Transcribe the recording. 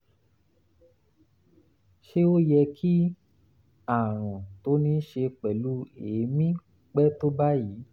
ṣé ó yẹ kí àrùn tó ní í ṣe pẹ̀lú èémí pẹ́ tó báyìí?